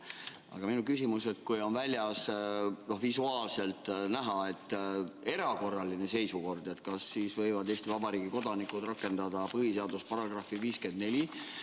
Aga minu küsimus: kui on väljas visuaalselt näha erakorraline seisukord, kas siis võivad Eesti Vabariigi kodanikud rakendada põhiseaduse § 54?